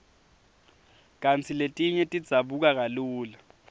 kantsi letinye tidzabuka kalula